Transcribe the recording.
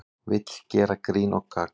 Vill gera grín og gagn